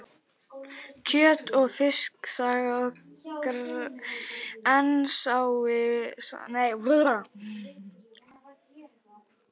Kjöt- og Fiskisaga á Grensásvegi sameinar þetta og margt fleira.